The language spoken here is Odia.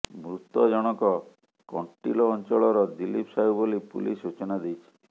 ମୃତକ ଜଣକ କଂଟିଲୋ ଅଂଚଳର ଦିଲ୍ଲୀପ ସାହୁ ବୋଲି ପୁଲିସ ସୂଚନା ଦେଇଛି